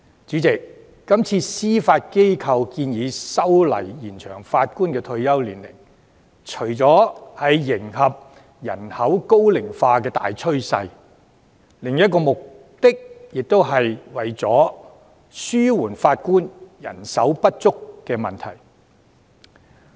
主席，今次司法機構建議修例以延展法官退休年齡，除為了迎合人口高齡化的大趨勢，也為了紓緩法官人手不足的問題。